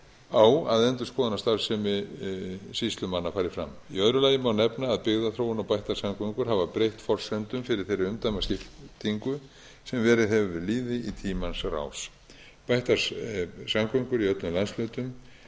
á að endurskoðunarstarfsemi sýslumanna fari fram í öðru lagi má nefna að byggðaþróun og bættar samgöngur hafa breytt forsendum fyrir þeirri umdæmaskiptingu sem verið hefur við lýði í tímans rás bættar samgöngur í öllum landshlutum